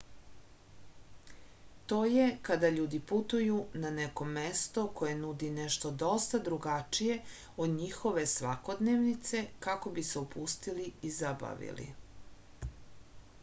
to je kada ljudi putuju na neko mesto koje nudi nešto dosta drugačije od njihove svakodnevnice kako bi se opustili i zabavili